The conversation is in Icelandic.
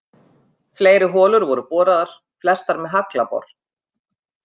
Fleiri holur voru boraðar, flestar með haglabor.